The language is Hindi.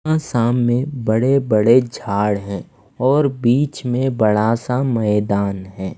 असाम में बड़े बड़े झाड़ हैं और बीच में बड़ा सा मैदान है।